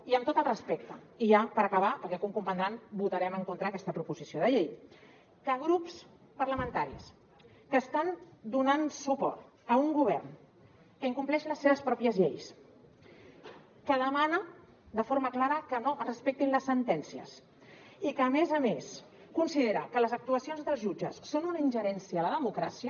i amb tot el respecte i ja per acabar perquè com comprendran votarem en contra aquesta proposició de llei que grups parlamentaris que estan donant suport a un govern que incompleix les seves pròpies lleis que demana de forma clara que no es respectin les sentències i que a més a més considera que les actuacions dels jutges són una ingerència a la democràcia